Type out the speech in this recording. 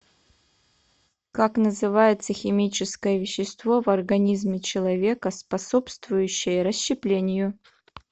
как называется химическое вещество в организме человека способствующее расщеплению